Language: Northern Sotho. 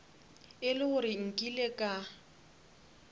e le gore nkile ka